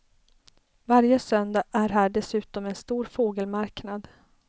Varje söndag är här dessutom en stor fågelmarknad.